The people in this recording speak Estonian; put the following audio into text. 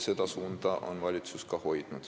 Seda suunda on valitsus ka hoidnud.